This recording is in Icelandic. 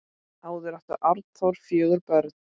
Áður átti Arnþór fjögur börn.